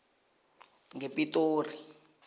ngepitori